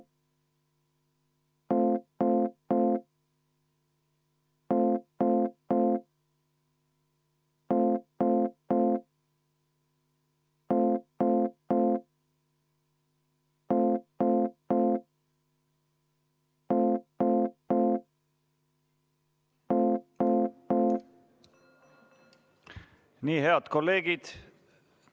V a h e a e g Nii, head kolleegid!